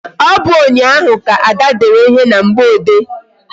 Ọ bụ ụnyaahụ ka Ada dere ihe na mgboode?